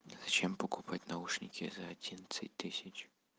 зачем покупать наушники за одиннадцать тысяч